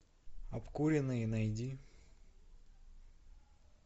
обкуренные найди